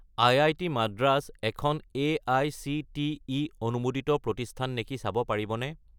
IIT. Madras এখন AICTE অনুমোদিত প্ৰতিষ্ঠান নেকি চাব পাৰিবনে?